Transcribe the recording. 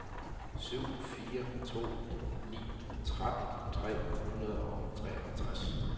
syv fire to ni tretten tre hundrede og treogtres